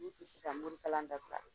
N'u tɛ se ka morikalan dabila